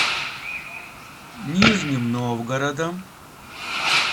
нижним новгородом